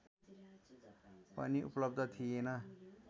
पनि उपलब्ध थिएन